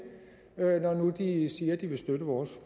når nu de siger at de vil støtte vores